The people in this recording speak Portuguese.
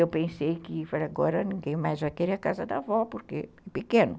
Eu pensei que agora ninguém mais vai querer a casa da avó, porque é pequeno.